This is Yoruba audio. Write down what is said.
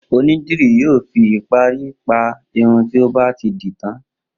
Onídìrí yòó fi ìparí pa irun tí ó bá ti dì í tán.